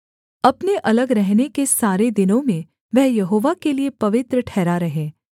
अपने अलग रहने के सारे दिनों में वह यहोवा के लिये पवित्र ठहरा रहे